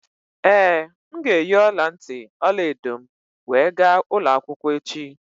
Ee, m ga-eyi ọla ntị ọla edo m wee ga ụlọ akwụkwọ echi